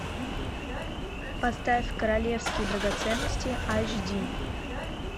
поставь королевские драгоценности аш ди